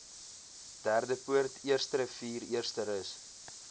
derdepoort eersterivier eersterus